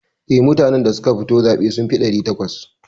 Eh, mutanen da suka fito zaɓe sun fi ɗari takwas.